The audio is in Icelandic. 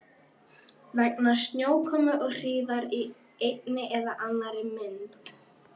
Vegna snjókomu og hríðar í einni eða annarri mynd.